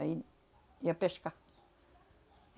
Aí ia pescar.